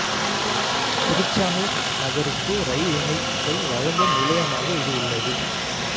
திருச்சானூர் நகருக்கு ரயில் இணைப்பை வழங்கும் நிலையமாக இது உள்ளது